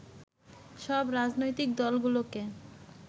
সব রাজনৈতিক দলগুলোকে